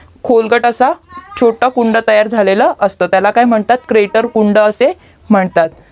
खोलगट असा छोटा कुंड तयार झालेला असतो त्याला काय म्हणतात क्रेटर कुंड असे म्हणतात